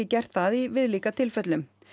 gert það í viðlíka tilfellum